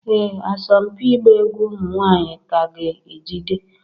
Ee asọmpi ịgba egwu ụmụ nwanyị ka ga-ejide